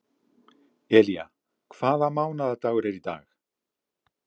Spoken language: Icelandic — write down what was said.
Elía, hvaða mánaðardagur er í dag?